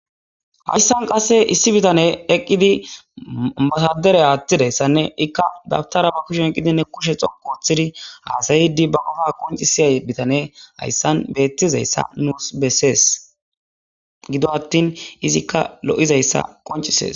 hayssan qasse issi bitane eqqidi matadere aattidayssanne ikka dabtara ba kushe eqqidinne kushe xoko woththidi haasayidi ba gofa qoncisiyay bitane hayssan beettizayssa nuus bessees gido attin izikka lo7izayssa qoncises